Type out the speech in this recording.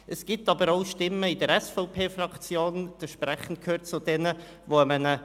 Es gibt jedoch auch Stimmen in der SVP-Fraktion, die einem Postulat zustimmen werden.